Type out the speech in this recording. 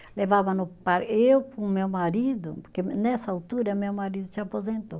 Levava no, eu com o meu marido, porque nessa altura meu marido se aposentou.